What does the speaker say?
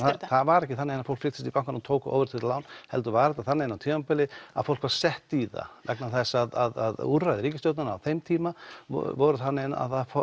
það var ekki þannig að fólk flykktist í bankann og tók óverðtryggð lán heldur var þetta þannig á tímabili að fólk var sett í það vegna þess að úrræði ríkisstjórnarinnar á þeim tíma voru þannig að ef